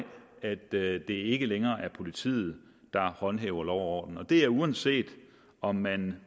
at det ikke længere er politiet der håndhæver lov og orden og det er uanset om man